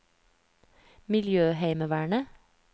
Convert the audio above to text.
miljøheimevernet